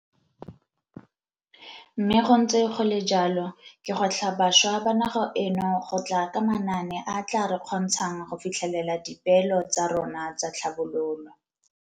Mme go ntse go le jalo, ke gwetlha bašwa ba naga eno go tla ka manaane a a tla re kgontshang go fitlhelela dipeelo tsa rona tsa tlhabololo.